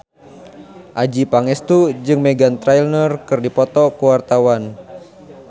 Adjie Pangestu jeung Meghan Trainor keur dipoto ku wartawan